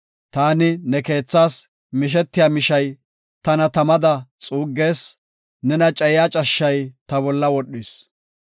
Taani ne keethas mishetiya mishay tana tamada xuuggees; nena cayiya cashshay ta bolla wodhis.